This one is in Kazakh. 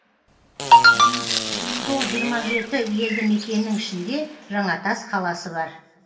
сол жиырма жеті елді мекеннің ішінде жаңатас қаласы бар